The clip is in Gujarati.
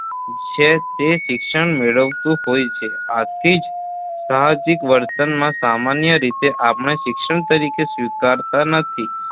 છે તે શિક્ષણ મેળવતું હોય છે, આથી જ સાહજિક વર્તનમાં સામાન્ય રીતે આપણે શિક્ષણ તરીકે સ્વીકારતા નથી